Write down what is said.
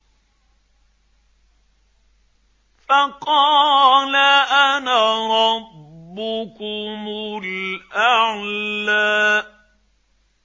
فَقَالَ أَنَا رَبُّكُمُ الْأَعْلَىٰ